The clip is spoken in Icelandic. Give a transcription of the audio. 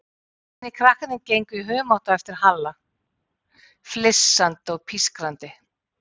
Hinir krakkarnir gengu í humátt á eftir Halla, flissandi og pískrandi.